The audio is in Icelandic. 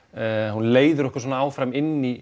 hún leiðir okkur svona áfram inn í